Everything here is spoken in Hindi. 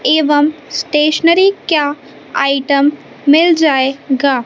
एवं स्टेशनरी क्या आइटम मिल जाएगा।